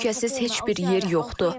Qəzzada təhlükəsiz heç bir yer yoxdur.